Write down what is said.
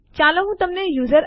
હવે આ કેવી રીતે ઉપયોગી છે